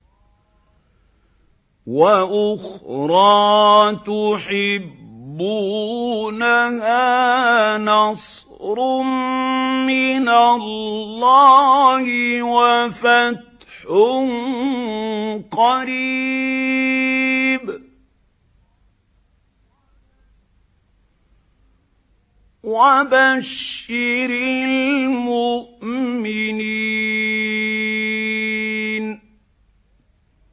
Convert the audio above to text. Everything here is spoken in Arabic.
وَأُخْرَىٰ تُحِبُّونَهَا ۖ نَصْرٌ مِّنَ اللَّهِ وَفَتْحٌ قَرِيبٌ ۗ وَبَشِّرِ الْمُؤْمِنِينَ